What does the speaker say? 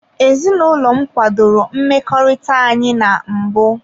Ezinụlọ m kwadoro mmekọrịta anyị na mbụ.